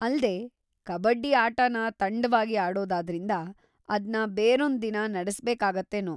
ಅಲ್ದೇ, ಕಬಡ್ಡಿ ಆಟನ ತಂಡವಾಗಿ ಆಡೋದಾದ್ರಿಂದ ಅದ್ನ ಬೇರೊಂದ್‌ ದಿನ ನಡೆಸ್ಬೇಕಾಗುತ್ತೇನೋ.